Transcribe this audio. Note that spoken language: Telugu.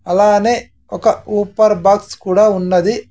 అలానే ఒక ఊప్పర్ బాక్స్ కూడా ఉన్నది.